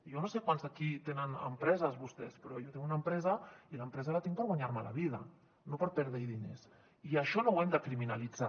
jo no sé quants d’aquí tenen empreses de vostès però jo tinc una empresa i l’empresa la tinc per guanyar m’hi la vida no per perdre hi diners i això no ho hem de criminalitzar